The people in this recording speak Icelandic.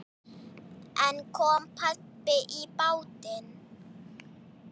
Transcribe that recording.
En kom babb í bátinn.